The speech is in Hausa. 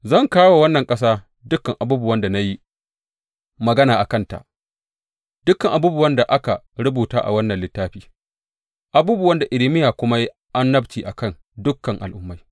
Zan kawo wa wannan ƙasa dukan abubuwan na yi magana a kanta, dukan abubuwan da aka rubuta a wannan littafi, abubuwan da Irmiya kuma ya yi annabci a kan dukan al’ummai.